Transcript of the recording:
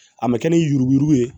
A mɛ kɛ ni yuruku yuruku ye